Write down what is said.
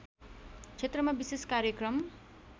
क्षेत्रमा विशेष कार्यक्रम